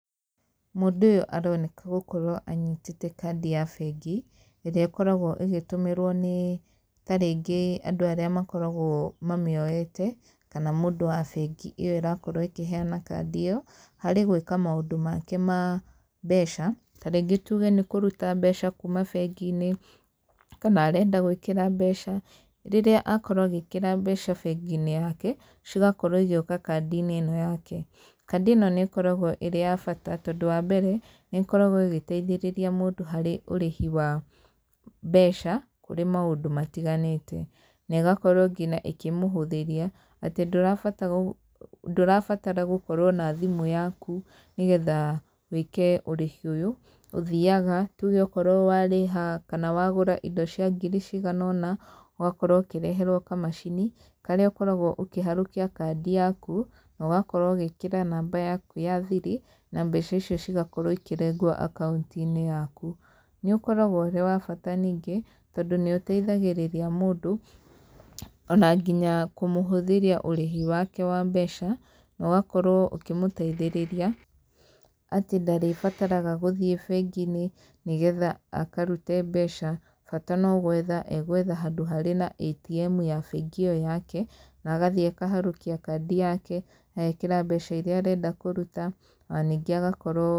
Mũndũ ũyũ aroneka gũkorwo anyitĩte kandi ya bengi, ĩrĩa ĩkoragwo ĩgĩtũmĩrwo nĩ ta rĩngĩ andũ arĩa makoragwo mamĩoete, kana mũndũ wa bengi ĩyo ĩrakorwo ĩkĩheana kandi ĩyo harĩ gwĩka maũndũ make ma mbeca, ta rĩngĩ tuge nĩ kũruta mbeca kuuma bengi-inĩ, kana renda gwĩkĩra mbeca, rĩrĩa akorwo agĩkĩra mbeca bengi-inĩ yake, cigakorwo igĩũka kandi-inĩ ĩno yake. Kandi ĩno nĩ ĩkoragwo ĩrĩ ya bata tondũ wambere, nĩ ĩkoragwo ĩgĩteithĩrĩria mũndũ harĩ ũrĩhi wa mbeca kũrĩ maũndũ matiganĩte, negakorwo nginya ĩkĩmũhũthĩria atĩ ndũrabatara ndũrabatara gũkorwo na thimũ yaku nĩgetha wĩke ũrĩhi ũyũ, ũthiaga, tuge okorwo warĩha kana wagũra indo cia ngiri ciganona, ũgakorwo ũkĩreherwo kamacini, karĩa ũkoragwo ũkĩharũkia kandi yaku, nogakorwo ũgĩkĩra namba yaku ya thiri, na mbeca icio cigakorwo ikĩrengwo akaunti-inĩ yaku. Nĩũkoragwo ũrĩ wa bata ningĩ, tondũ nĩ ũteithagĩrĩria mũndũ, ona nginya kũmũhũthĩria ũrĩhi wake wa mbeca, nogakorwo ũkĩmũteithĩrĩria atĩ ndarĩbataraga gũthiĩ bengi-inĩ, nĩgetha akarute mbeca bata no gwetha e gwetha handũ harĩ na ATM ya bengi ĩyo yake, na agathiĩ akaharũkia kandi yake, agekĩra mbeca iria arenda kũruta, ona ningĩ agakorwo.